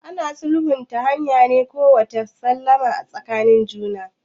Ana sulhu ne ta hanyar kawo maslaha tsakanin juna.